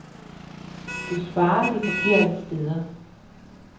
Du sparer, de forkerte steder.